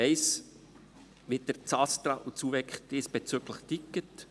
Ich weiss, wie das ASTRA und das UVEK diesbezüglich ticken.